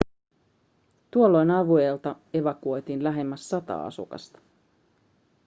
tuolloin alueelta evakuoitiin lähemmäs sata asukasta